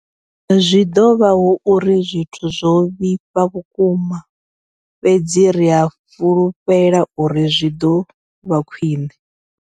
Zwi ḓo vha hu uri zwithu zwo vhifha vhukuma, fhedzi ri a fhulufhela uri zwi ḓo vha khwiṋe.